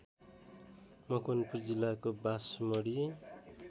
मकवानपुर जिल्लाको बासमढी